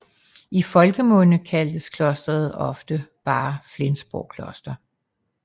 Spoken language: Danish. I folkemunde kaldtes klostret ofte bare Flensborg Kloster